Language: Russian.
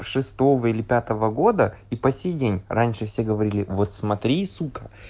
шестого или пятого года и по сей день раньше все говорили вот смотри сука